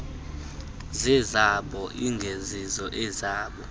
izezabo ingezizo ezam